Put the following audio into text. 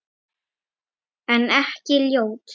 En ekki ljót.